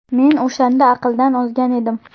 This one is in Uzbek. Men o‘shanda aqldan ozgan edim.